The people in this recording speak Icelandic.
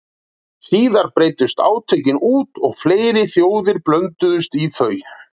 Síðar breiddust átökin út og fleiri þjóðir blönduðust í þau.